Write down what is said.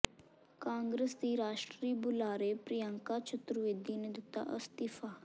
ਕਾਂਗਰਸ ਦੀ ਰਾਸ਼ਟਰੀ ਬੁਲਾਰੇ ਪ੍ਰਿਅੰਕਾ ਚਤੁਰਵੇਦੀ ਨੇ ਦਿੱਤਾ ਅਸਤੀਫਾ